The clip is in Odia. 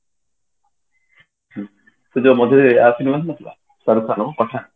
ସେଇ ମଝିରେ ଯୋଉ ଆସିନଥିଲା ସାରୁ ଖାନ ର ପଠାନ